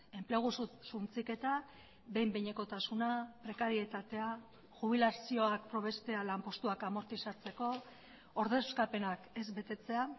enplegu suntsiketa behin behinekotasuna prekarietatea jubilazioak probestea lanpostuak amortizatzeko ordezkapenak ez betetzea